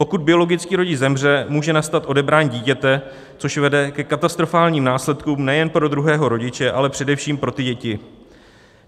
Pokud biologický rodič zemře, může nastat odebrání dítěte, což vede ke katastrofálním následkům nejen pro druhého rodiče, ale především pro ty děti.